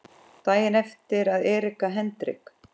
Daginn eftir að Erika Hendrik